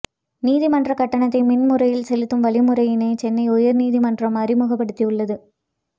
நீதிமன்ற கட்டணத்தை மின் முறையில் செலுத்தும் வழிமுறையினை சென்னை உயர் நீதிமன்றம் அறிமுகப்படுத்தியுள்ளது